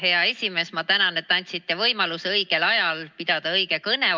Hea esimees, ma tänan, et andsite mulle võimaluse õigel ajal pidada õige kõne!